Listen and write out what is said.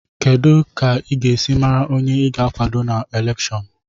Kedu ka ị ga-esi mara onye ị ga-akwado na elèkshón